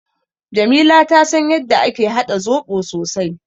Jamila ta san yadda ake haɗa zoɓo sosai.